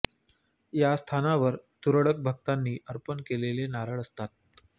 या स्थानावर तुरळक भक्तांनी अर्पण केलेले नारळ असत